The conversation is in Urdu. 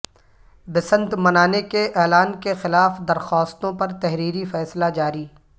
بسنت منانے کے اعلان کے خلاف درخواستوں پر تحریری فیصلہ جاری